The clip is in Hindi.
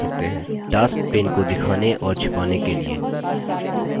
tasks pane को दिखाने और छिपाने के लिए